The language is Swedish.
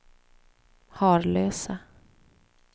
Harlösa